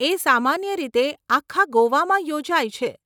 એ સામાન્ય રીતે આખા ગોવામાં યોજાય છે.